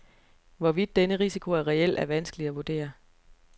Hvorvidt denne risiko er reel, er vanskeligt at vurdere.